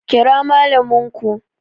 Kira Mallamin ku!